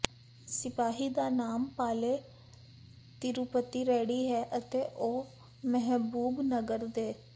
ਸਿਪਾਹੀ ਦਾ ਨਾਮ ਪਾਲੇ ਤਿਰੂਪਤੀ ਰੈਡੀ ਹੈ ਅਤੇ ਉਹ ਮਹਿਬੂਬਨਗਰ ਦੇ